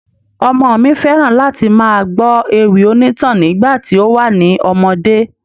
Ọmọ mi fẹ́ran láti máa gbọ́ ewì onítàn nígbà tí ó wà ní ọmọdé.